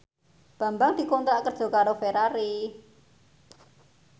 Bambang dikontrak kerja karo Ferrari